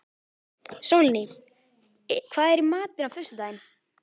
Sólný, hvað er í matinn á föstudaginn?